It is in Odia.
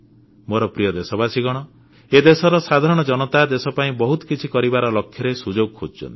ମୋର ପ୍ରିୟ ଦେଶବାସୀ ଏ ଦେଶର ସାଧାରଣ ଜନତା ଦେଶ ପାଇଁ ବହୁତ କିଛି କରିବା ଲକ୍ଷ୍ୟରେ ସୁଯୋଗ ଖୋଜୁଥାନ୍ତି